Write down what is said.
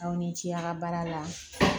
Aw ni ce a ka baara la